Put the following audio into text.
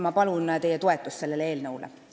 Ma palun teie toetust sellele eelnõule.